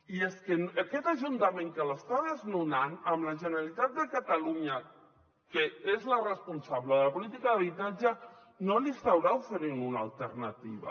i és que aquest ajuntament que l’està desnonant amb la generalitat de catalunya que és la responsable de la política d’habitatge no li estarà oferint una alternativa